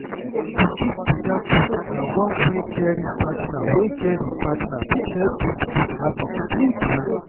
to give better food na one way caring partner way caring partner fit help build good habit true-true.